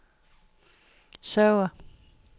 server